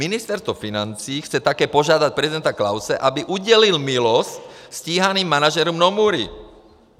Ministerstvo financí chce také požádat prezidenta Klause, aby udělil milost stíhaným manažerům Nomury.